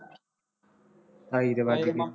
ਢਾਈ ਤਾਂ ਵੱਜ ਗਏ